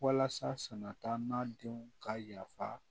Walasa sanataa denw ka yafa